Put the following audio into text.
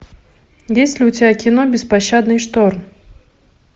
есть ли у тебя кино беспощадный шторм